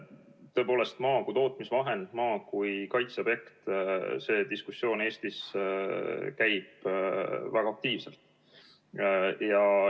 Tõepoolest, maa kui tootmisvahend, maa kui kaitseobjekt – see diskussioon Eestis käib väga aktiivselt.